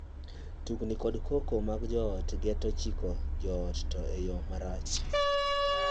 Tungni kod koko mag joot geto chiko joot, to e yoo marach.